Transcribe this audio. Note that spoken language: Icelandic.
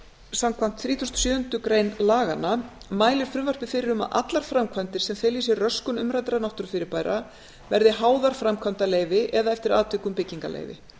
þrítugustu og sjöundu grein laganna mælir frumvarpið fyrir um að allar framkvæmdir sem fela í sér röskun umræddra náttúrufyrirbæra verði háðar framkvæmdaleyfi eða eftir atvikum byggingarleyfi